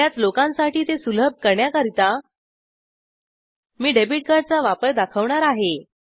बर्याच लोकांसाठी ते सुलभ करण्याकरिता मी डेबिट कार्डचा वापर दाखवणार आहे